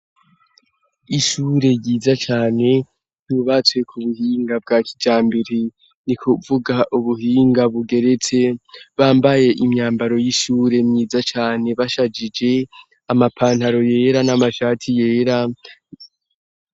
Ishure yiza cane ryubatswe ku buhinga bwa kijambere ni kuvuga ubuhinga bugeretse bambaye imyambaro y'ishure myiza cane bashagije amapantaro yera n'amashati yera.